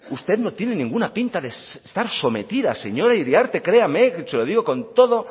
usted no tiene ninguna pinta de estar sometida señora iriarte créame se lo digo con toda